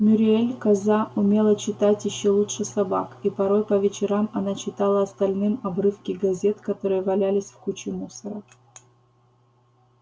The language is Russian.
мюриель коза умела читать ещё лучше собак и порой по вечерам она читала остальным обрывки газет которые валялись в куче мусора